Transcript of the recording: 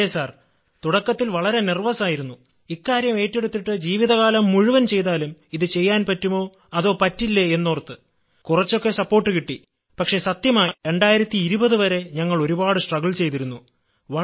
അതേ സർ തുടക്കത്തിൽ വളരെ വികാരവിവശനായിരുന്നു ഇക്കാര്യം ഏറ്റെടുത്തിട്ട് ജീവിതകാലം മുഴുവൻ ചെയ്താലും ഇതു ചെയ്യാൻ പറ്റുമോ അതോ പറ്റില്ലേ എന്നോർത്ത് കുറച്ചൊക്കെ സപ്പോർട്ട് കിട്ടി പക്ഷെ സത്യമായും 2020 വരെ ഞങ്ങൾ ഒരുപാട് പ്രയാസപ്പെട്ടിരുന്നു